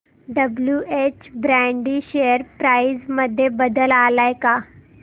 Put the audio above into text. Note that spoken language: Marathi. डब्ल्युएच ब्रॅडी शेअर प्राइस मध्ये बदल आलाय का